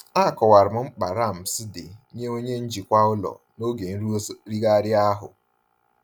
Akọwara m mkpa ramps dị nye onye njikwa ụlọ n'oge nrụzigharị ahụ.